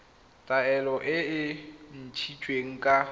taelo e e ntshitsweng ka